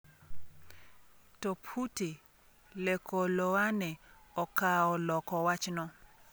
To Phuti Lekoloane okawo loko wachno.